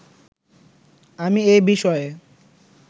আমি এ বিষয়ে